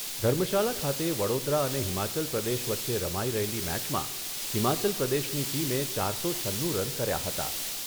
ધર્મશાલા ખાતે વડોદરા અને હિમાચલ પ્રદેશ વચ્ચે રમાઈ રહેલી મેચમાં હિમાચલ પ્રદેશની ટીમે ચારસો છન્નુ રન કર્યા હતા.